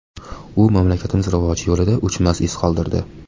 U mamlakatimiz rivoji yo‘lida o‘chmas iz qoldirdi.